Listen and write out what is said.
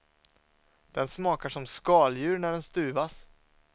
Den smakar som skaldjur när den stuvas.